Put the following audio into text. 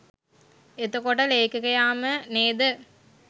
එතකොට ලේඛකයාම නේද